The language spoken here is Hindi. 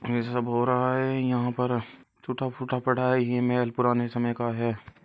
ये सब हो रहा है यहाँ पर टूटा फूटा पड़ा है ये महल पुराने समय का है।